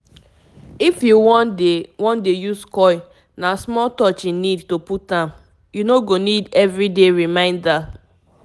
if u wan dey wan dey use coil na small touch e need to put am - u no go need everyday reminder. small pause